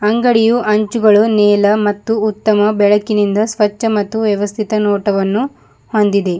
ಅಂಗಡಿಯು ಹಂಚುಗಳು ನೀಲ ಮತ್ತು ಉತ್ತಮ ಬೆಳಕಿನಿಂದ ಸ್ವಚ್ಛ ಮತ್ತು ವ್ಯವಸ್ಥಿತ ನೋಟವನ್ನು ಹೊಂದಿದೆ.